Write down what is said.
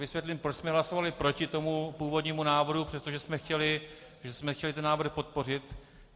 Vysvětlím, proč jsme hlasovali proti tomu původnímu návrhu, přestože jsme chtěli tento návrh podpořit.